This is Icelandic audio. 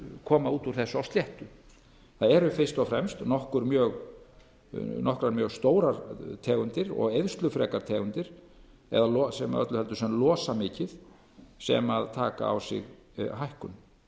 koma út úr þessu á sléttu það eru fyrst og fremst nokkrar mjög stórar tegundir og eyðslufrekar eða öllu heldur sem losa mikið sem taka á sig hækkun